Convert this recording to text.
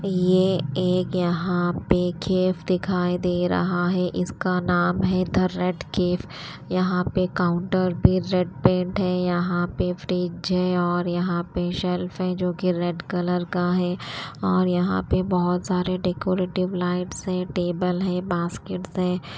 ये एक यहां पे केव दिखाई दे रहा है इसका नाम है द रेड केव यहां पे काउंटर पे रेड पेंट है यहां पे फ्रिज है और यहां पे शेल्फ है जो कि रेड कलर का है और यहां पे बहुत सारे डेकोरेटिव लाइट्स है टेबल है बास्केटस है।